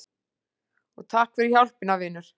Og takk fyrir hjálpina, vinur.